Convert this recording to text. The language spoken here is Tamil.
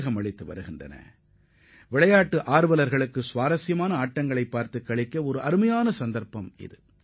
மிக அருமையான போட்டிகளை காண விரும்பும் விளையாட்டு ஆர்வலர்களுக்கு இது ஒரு நல்ல வாய்ப்பாகும்